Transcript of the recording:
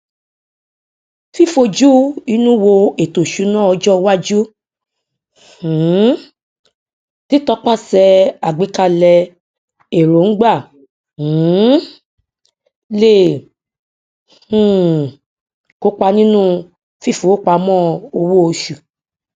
fífojúinú wo ètòìṣúná ọjọ iwájú um títọpaṣẹ àgbékalẹ èròngbà um lè um kópa nínú fífowópamọ owóoṣù